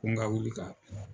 Ko n ka wuli ka.